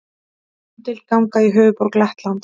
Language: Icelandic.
Umdeild ganga í höfuðborg Lettlands